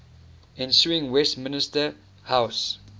ensuing westminster house